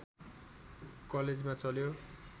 कलेजमा चल्यो